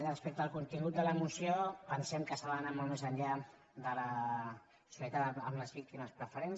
respecte al contingut de la moció pensem que s’ha d’anar molt més enllà de la solidaritat amb les vícti·mes de preferents